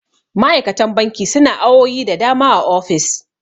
ma'aikatan banki suna awowi da dama a ofis